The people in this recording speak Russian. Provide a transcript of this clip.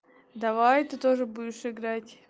давай ты тоже будешь играть